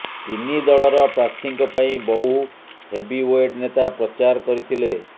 ତିନି ଦଳର ପ୍ରାର୍ଥୀଙ୍କ ପାଇଁ ବହୁ ହେଭିୱେଟ ନେତା ପ୍ରଚାର କରିଥିଲେ